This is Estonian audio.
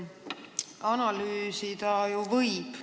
Analüüsida ju võib.